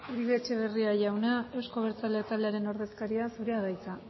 uribe etxebarria jauna euzko abertzaleak taldearen ordezkaria zurea da hitza